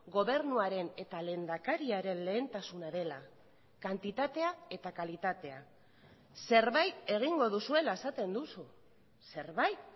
gobernuaren eta lehendakariaren lehentasuna dela kantitatea eta kalitatea zerbait egingo duzuela esaten duzu zerbait